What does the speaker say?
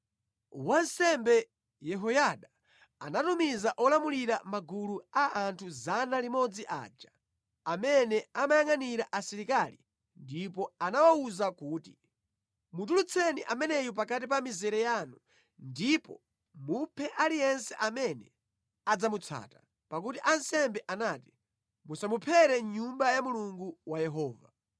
Wansembe Yehoyada anatumiza olamulira magulu a anthu 100 aja, amene amayangʼanira asilikali ndipo anawawuza kuti, “Mutulutseni ameneyu pakati pa mizere yanu ndipo muphe aliyense amene adzamutsata.” Pakuti ansembe anati, “Musamuphere mʼNyumba ya Mulungu wa Yehova,”